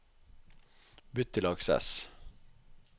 bytt til Access